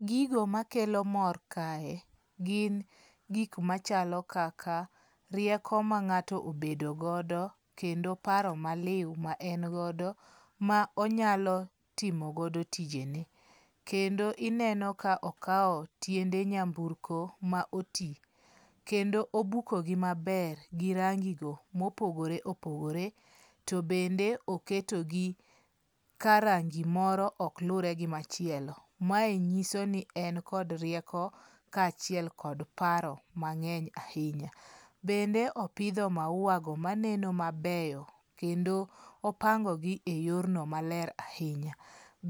Gigo makelo mor kae gin gik machalo kaka rieko ma ng'ato obedogodo kendo paro maliw ma engodo ma onyalo timogodo tijene. Kende ineno ka okaw tiende nyamburko ma oti kendo obuko gi maber gi rangi go mopogore opogore. To bende oketogi ka rangi moro ok lure gi machielo. Mae nyiso ni en kod rieko ka achiel kod paro mang'eny ahinya. Bende opidho maua go maneno mabeyo kendo opango gi e yor no maler ahinya.